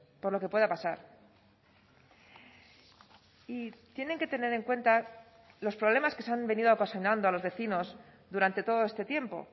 por lo que pueda pasar y tienen que tener en cuenta los problemas que se han venido ocasionando a los vecinos durante todo este tiempo